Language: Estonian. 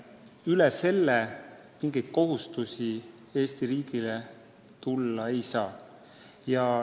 Üle selle summa mingeid kohustusi Eesti riigile tulla ei saa.